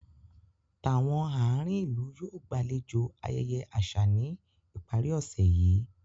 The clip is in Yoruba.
Tàwọn àárín ìlú yóò gbàlejò ayẹyẹ àṣà ní ìparí ọ̀sẹ̀ yí